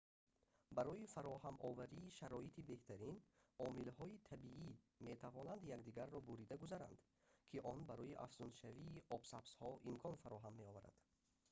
барои фароҳамоварии шароити беҳтарин омилҳои табиӣ метавонанд якдигарро бурида гузаранд ки он барои афзуншавии обсабзҳо имкон фароҳам меоварад